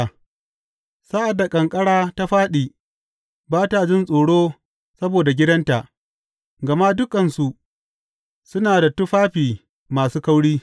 Sa’ad da ƙanƙara ta fāɗi, ba ta jin tsoro saboda gidanta; gama dukansu suna da tufafi masu kauri.